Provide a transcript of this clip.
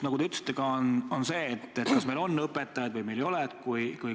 Nagu te ütlesite, probleem on see, et me ei tea, kas meil varsti on õpetajaid või meil ei ole neid.